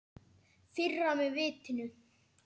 Firra mig vitinu.